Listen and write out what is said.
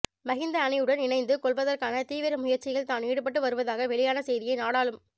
மஹிந்த அணியுடன் இணைந்து கொள்வதற்கான தீவிர முயற்சியில் தான் ஈடுபட்டு வருவதாக வெளியான செய்தியை நாடாளும